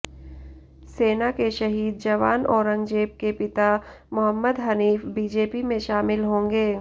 सेना के शहीद जवान औरंगजेब के पिता मोहम्मद हनीफ बीजेपी में शामिल होंगे